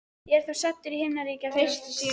Ég er þá staddur í himnaríki eftir allt saman.